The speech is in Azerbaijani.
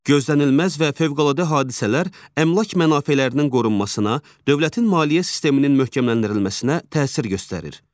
Gözlənilməz və fövqəladə hadisələr əmlak mənafelərinin qorunmasına, dövlətin maliyyə sisteminin möhkəmləndirilməsinə təsir göstərir.